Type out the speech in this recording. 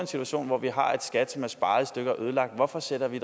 situation hvor vi har et skat som er sparet i stykker og ødelagt hvorfor sætter vi